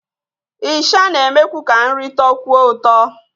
Ịsha na-emekwu ka nri tọọkwuo ụtọ.